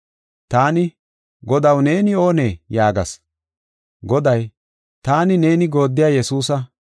“Taani, ‘Godaw, neeni oonee?’ yaagas. “Goday, ‘Taani, neeni gooddiya Yesuusa;